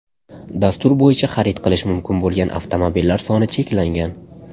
Dastur bo‘yicha xarid qilish mumkin bo‘lgan avtomobillar soni cheklangan.